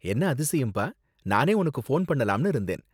என்ன அதிசயம் பா, நானே உனக்கு ஃபோன் பண்ணலாம்னு இருந்தேன்.